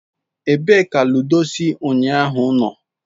Ebee ka ludo si unyahu no?